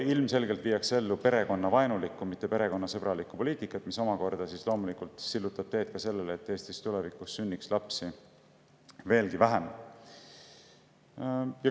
Ilmselgelt viiakse ellu perekonnavaenulikku, mitte perekonnasõbralikku poliitikat, mis omakorda loomulikult sillutab teed sellele, et tulevikus sünniks Eestis veelgi vähem lapsi.